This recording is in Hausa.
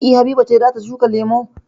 E. Habiba ce za ta shuka lemu.